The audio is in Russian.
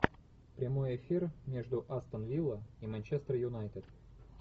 прямой эфир между астон вилла и манчестер юнайтед